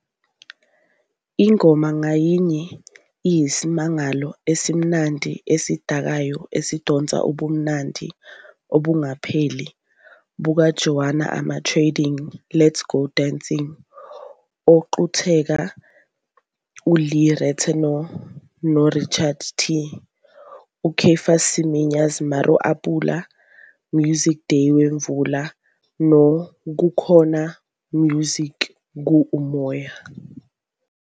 Ingoma ngayinye iyisimangalo esimnandi, esidakayo esidonsa ubumnandi obungapheli bukaJoan Armatrading "Let Go Dancing", oqukethe uLee Ritenour noRichard Tee, uCaiphus Semenya's "Mara A Pula," "Music Day Wemvula" no "Kukhona Music Ku-Umoya.